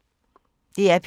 DR P3